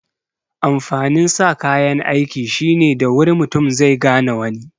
Amfanin sa kayan aiki shine da wuri mutu zai gane wani